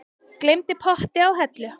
Gleymdi potti á hellu